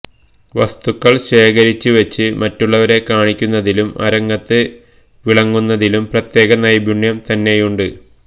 വസ്തുക്കള് ശേഖരിച്ചുവച്ച് മറ്റുള്ളവരെ കാണിക്കുന്നതിലും അരങ്ങത്ത് വിളങ്ങുന്നതിലും പ്രത്യേക നൈപുണ്യം തന്നെയുണ്ട്